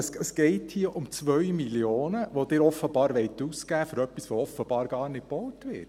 Es geht hier um 2 Mio. Franken, welche Sie offenbar für etwas ausgeben wollen, das offenbar gar nicht gebaut wird.